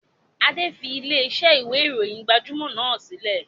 Adé fi ilẹ̀ ìṣe ìwé ìròyìn gbajúmọ̀ náà sílẹ̀